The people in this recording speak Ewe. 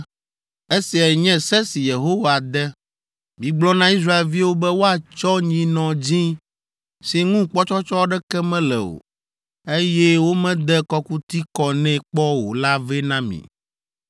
“Esiae nye se si Yehowa de. Migblɔ na Israelviwo be woatsɔ nyinɔ dzĩ si ŋu kpɔtsɔtsɔ aɖeke mele o, eye womede kɔkuti kɔ nɛ kpɔ o la vɛ na mi.